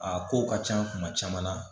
A ko ka ca kuma caman na